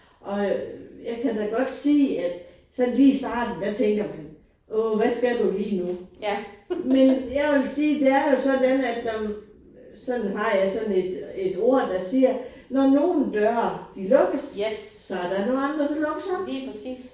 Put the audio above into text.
Og jeg kan da godt sige at sådan lige i starten der tænker man åh hvad skal du lige nu. Men jeg vil sige det er jo sådan at når man sådan har jeg sådan et et ord der siger når nogen døre de lukkes så er der noget andre der lukkes op